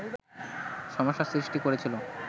সমস্যা সৃষ্টি করেছিল